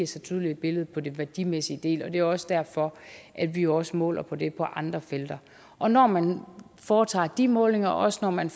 så tydeligt billede på den værdimæssige del og det er også derfor at vi jo også måler på det på andre felter og når man foretager de målinger og også når man